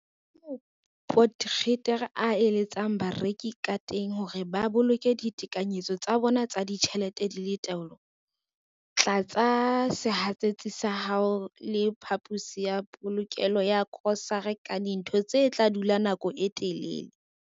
Kamoo Potgieter a eletsang bareki kateng hore ba boloke ditekanyetso tsa bona tsa ditjhelete di le taolong- Tlatsa sehatsetsi sa hao le phaposi ya polokelo ya grosare ka dintho tse tla dula nako e telele.